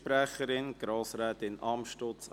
Es wurde schon viel gesagt.